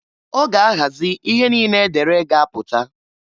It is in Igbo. Ọ ga ahazị ihe niine e dere ga-apụta.